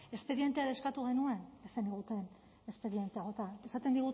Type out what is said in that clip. espedientea ere eskatu genuen ez zeniguten espedientea bota esaten